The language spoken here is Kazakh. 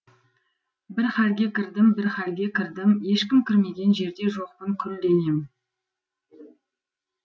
бір халге кірдім бір халге кірдім ешкім кірмеген жерде жоқпын күл денем